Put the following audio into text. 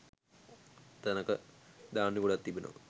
තැනක ධාන්‍ය ගොඩක් තිබෙනවා.